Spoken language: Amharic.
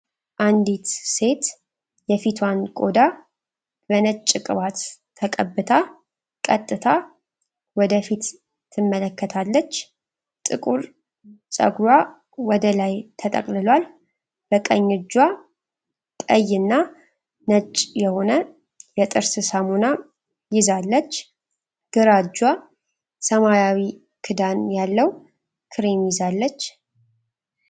አንዲት ሴት የፊቷን ቆዳ በነጭ ቅባት ተቀብታ ቀጥታ ወደ ፊት ትመለከታለች፡፡ ጥቁር ፀጉሯ ወደ ላይ ተጠቅልሏል፡፡ በቀኝ እጇ ቀይና ነጭ የሆነ የጥርስ ሳሙና ይዛለች፡፡ ግራ እጇ ሰማያዊ ክዳን ያለው ክሬም ይዛለች፡፡